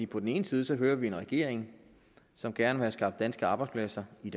på den ene side hører vi en regering som gerne vil have skabt danske arbejdspladser i